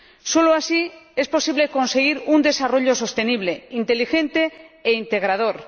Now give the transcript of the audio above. Solo así es posible conseguir un desarrollo sostenible, inteligente e integrador.